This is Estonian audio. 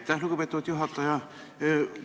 Aitäh, lugupeetud juhataja!